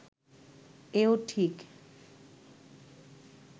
এও ঠিক